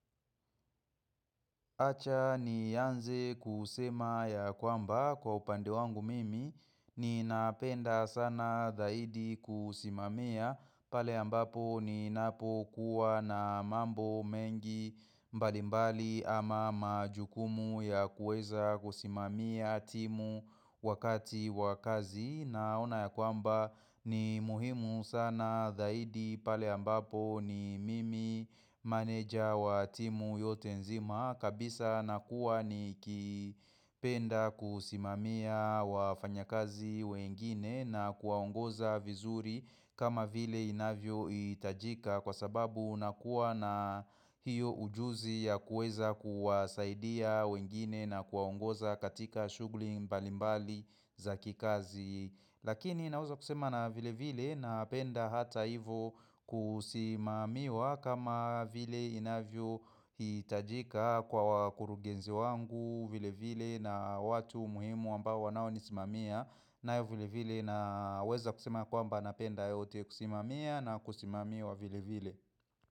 Acha nianze kusema ya kwamba kwa upande wangu mimi ninapenda sana zaidi kusimamia pale ambapo ninapokuwa na mambo mengi mbalimbali ama majukumu ya kuweza kusimamia timu wakati wa kazi. Naona ya kwamba ni muhimu sana zaidi pale ambapo ni mimi manager wa timu yote nzima kabisa na kuwa nikipenda kusimamia wafanyakazi wengine na kuwaongoza vizuri kama vile inavyohitajika kwa sababu unakuwa na hiyo ujuzi ya kuweza kuwasaidia wengine na kuwaongoza katika shughuli mbalimbali za kikazi Lakini naweza kusema na vilevile napenda hata hivyo kusimamiwa kama vile inavyo hitajika kwa wakurugenzi wangu, Vilevile na watu muhimu ambao wanaonisimamia. Nayo vilevile naweza kusema ya kwamba napenda yote. Kusimamia na kusimamiwa vilevile.